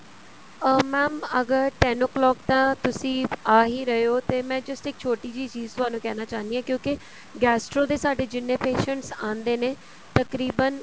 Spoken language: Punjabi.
ਅਹ mam ਅਗਰ ten o clock ਤਾਂ ਤੁਸੀਂ ਆ ਹੀ ਰਹੇ ਹੋ ਤੇ ਮੈਂ just ਇੱਕ ਛੋਟੀ ਜਿਹੀ ਚੀਜ਼ ਕਹਿਣਾ ਚਹੁੰਦੀ ਹਾਂ gastro ਦੇ ਸਾਡੇ ਜਿੰਨੇ ਵੀ patient ਆਉਂਦੇ ਨੇ ਤਕਰੀਬਨ